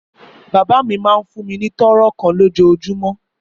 Bàbá mi máa ń fún mi ní toro kan lójoojúmọ́.